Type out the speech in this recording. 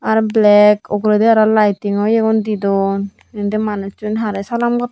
ar black uguredi aro lighting oh iyo gun di dun indi manuchun harey salam gotton.